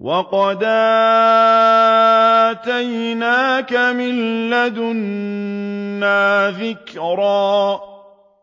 وَقَدْ آتَيْنَاكَ مِن لَّدُنَّا ذِكْرًا